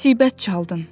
Müsibət çaldın.